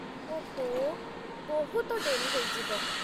ଓଃ, ବହୁତ ଡେରି ହେଇଯିବ ।